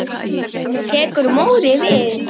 Tekur Móri við?